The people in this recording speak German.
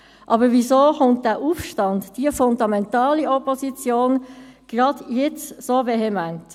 Aber weshalb kommt dieser Aufstand, diese fundamentale Opposition gerade jetzt so vehement?